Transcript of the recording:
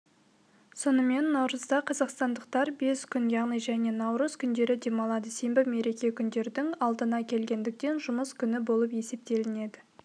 сонымен наурызда қазақстандықтар бес күн яғни және наурыз күндері демалады сенбі мереке күндердің алдына келгендіктен жұмыс күні болып есептелінеді